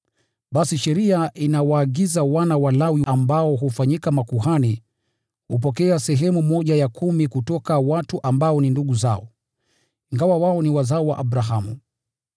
Basi sheria inawaagiza wana wa Lawi ambao hufanyika makuhani kupokea sehemu ya kumi kutoka kwa watu ambao ni ndugu zao, ingawa ndugu zao ni wazao wa Abrahamu.